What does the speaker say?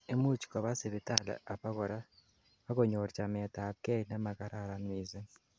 imuch koba sipitali abakora, akonyor chamet ab gei nemakararan missing